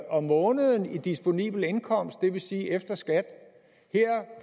om måneden i disponibel indkomst det vil sige efter skat her